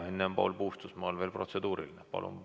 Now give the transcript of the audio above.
Enne aga on Paul Puustusmaal veel protseduuriline küsimus.